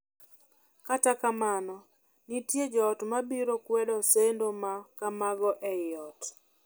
Kata kamano, nitie joot ma biro kwedo sendo ma kamago ei ot.